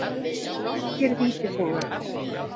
Norskir Vítisenglar.